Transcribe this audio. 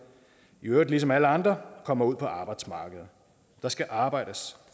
i øvrigt ligesom alle andre kommer ud på arbejdsmarkedet der skal arbejdes